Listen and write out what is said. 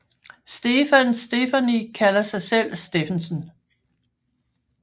Stefan Stefani kalder sig selv Steffensen